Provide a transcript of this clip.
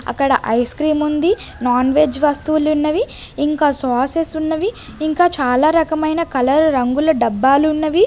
అక్కడ ice cream ఉంది non veg వస్తువులు ఉన్నవి ఇంకా స్వసెస్ ఉన్నవి ఇంకా చాలా రకమైన కలర్ రంగుల డబ్బాలు ఉన్నవి.